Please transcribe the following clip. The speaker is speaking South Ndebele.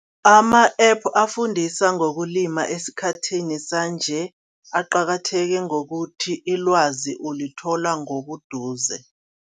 Ama-app afundisa ngokulima esikhathini sanje aqakatheke ngokuthi ilwazi ulithola ngobuduze.